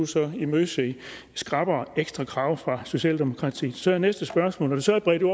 så kan imødese skrappere ekstra krav fra socialdemokratiet så er næste spørgsmål når det så er bredt ud